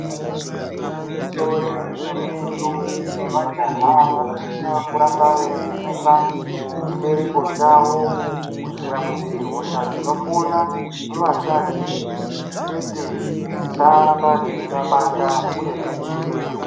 Igwinyiso remene mene ndombi nemajaha anosise kuramba veivhenekwa chibereko chavo kuitira kuti hosha dzinopona muakadzi chete dziramba dzeiva dzeivabata uye dzidzivirirwe.